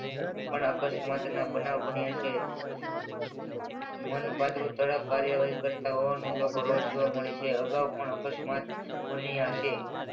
પણ અકસ્માત ના બનાવ બન્યા છે. કાર્યવાહી કરતા લોકો રોજ જોવા મળે છે અગાઉ પણ અકસ્માતની હશે.